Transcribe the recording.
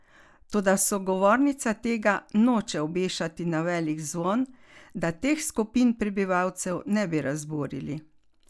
Toda sogovornica tega noče obešati na veliki zvon, da teh skupin prebivalcev ne bi razburili!